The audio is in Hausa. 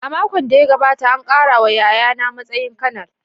A makon da ya gabata, an ƙara wa yayana matsayin Kanar.